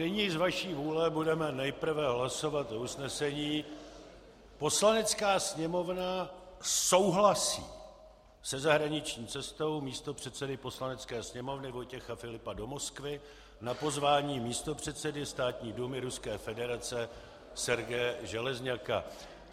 Nyní z vaší vůle budeme nejprve hlasovat o usnesení: "Poslanecká sněmovna souhlasí se zahraniční cestou místopředsedy Poslanecké sněmovny Vojtěcha Filipa do Moskvy na pozvání místopředsedy Státní dumy Ruské federace Sergeje Železňaka."